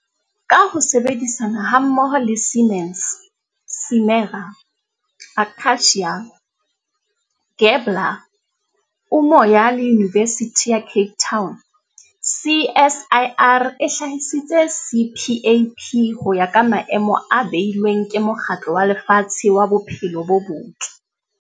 Ka ho sebedisana hammoho le Siemens, Simera, Akacia, Gabler, Umoya le Yunivesithi ya Cape Town, CSIR e hlahisitse CPAP ho ya ka maemo a beilweng ke Mokgatlo wa Lefatshe wa Bophelo bo Botle.